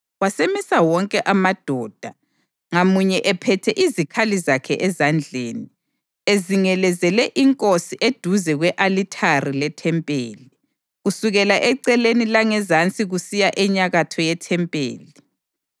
Wasemisa wonke amadoda, ngamunye ephethe izikhali zakhe ezandleni, ezingelezele inkosi eduze kwe-alithari lethempeli, kusukela eceleni langezansi kusiya enyakatho yethempeli.